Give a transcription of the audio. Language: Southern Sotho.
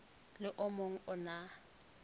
le o mong o na